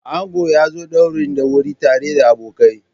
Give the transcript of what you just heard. Ango ya zo ɗaurin da wuri tare da abokai.